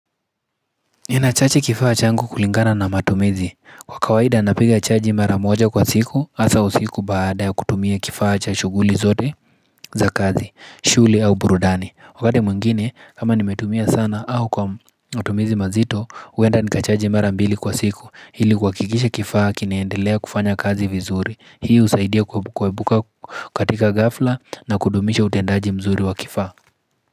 Ninachaji kifaa changu kulingana na matumizi kwa kawaida napiga chaji mara moja kwa siku asa usiku baada ya kutumia kifaa cha shuguli zote za kazi shughuli au burudani wakati mwingine kama nimetumia sana au kwa matumizi mazito huenda nikachaji mara mbili kwa siku ili kuhakikisha kifaa kinaendelea kufanya kazi vizuri hii usaidia kuepuka katika ghafla na kudumisha utendaji mzuri wa kifaa.